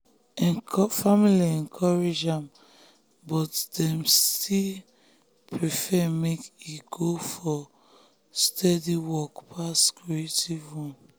family encourage am but dem still prefer prefer make e go for steady work pass creative one